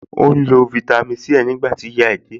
Ó ń lo fáítámì Sí ẹ̀ nígbà tí ìyá ẹ̀ dé láti ọjà